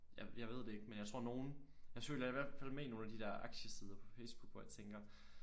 Jeg ved det ikke men jeg tror nogle jeg følger i hvert fald med i nogle af de der aktiesider på Facebook hvor jeg tænker